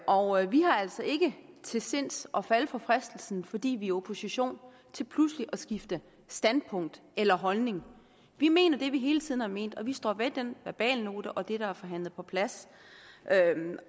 og vi har altså ikke til sinds at falde for fristelsen fordi vi er i opposition til pludselig at skifte standpunkt eller holdning vi mener det vi hele tiden har ment og vi står ved den verbalnote og det der er forhandlet på plads